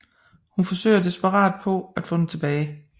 Hun forsøger desperat på at få den tilbage